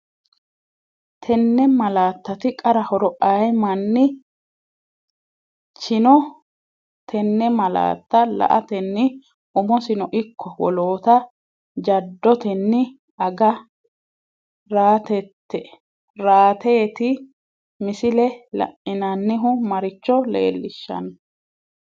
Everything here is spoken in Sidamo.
Tenne malaattati qara horo aye man chino tenne malaatta la”atenni umosino ikko woloota jaddotenni aga rateeti, Misile la’inannihu maricho leellishanno?